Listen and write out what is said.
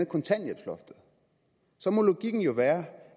kontanthjælpsloftet så må logikken jo være